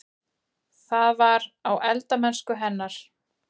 Það var: á eldamennsku hennar.